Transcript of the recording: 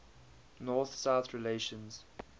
north south relations